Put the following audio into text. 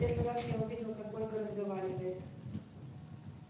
первый раз я увидел как ольга разговаривает